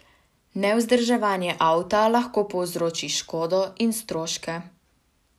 Nevzdrževanje avta lahko povzroči škodo in stroške.